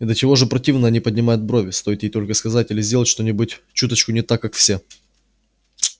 и до чего же противно они поднимают брови стоит ей только сказать или сделать что-нибудь чуточку не так как все